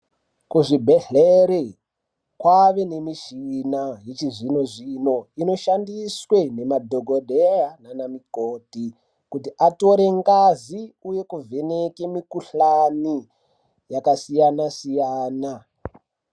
Ku zvibhedhleri kwave ne mishina yechi zvino zvino ino shandiswe ne madhokodheya nana mukoti kuti atore ngazi uye ku vheneke mi kuhlani yaka siyana siyana.